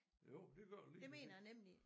Jo det gør det lige præcis